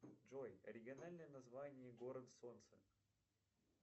джой оригинальное название город солнца